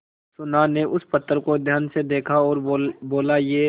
सुनार ने उस पत्थर को ध्यान से देखा और बोला ये